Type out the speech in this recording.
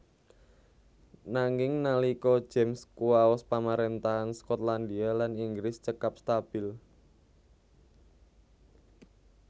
Nanging nalika James kuwaos pamarèntahan Skotlandia lan Inggris cekap stabil